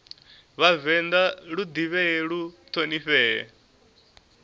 vhavenḓa lu ḓivhee lu ṱhonifhee